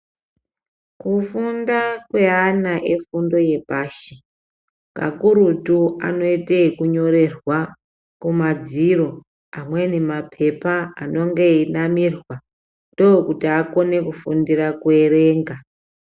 Kufunda kweana efundo yepashi kakurutu anoite ekunyorerwa kumadziro amweni mapepa anonge einamirwa ndokuti akone kufundira kuerenga.